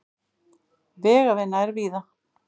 Vegavinna er víða